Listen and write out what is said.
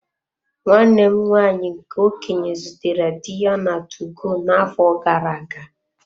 Nwanne m nwaanyị nke okenye zutere di ya na 2go na-afọ gara-aga.